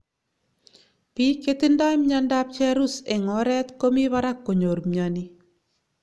piig chetindoi miando ap cherus eng oret komii parak konyor miani